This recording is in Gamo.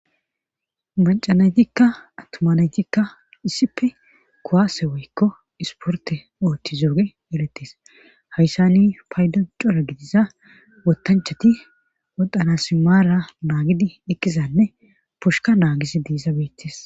Mancanaytikka attumanaytikka issipe kuwaase woykko isporte oothti zooge eretis hayssani paydo cora gidiza wotanchati wodhanasimaara naagidi eqqizanne pushka naagishe iizays beettis